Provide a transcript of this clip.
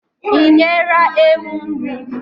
Ị nyela ewu nri?